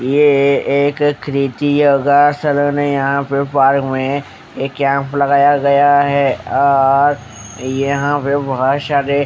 ये एक क्रिती यगा यहा पे पार्क मे एक कैंप लगाया गया है अ ओओ और यहा पे बहोत शारे।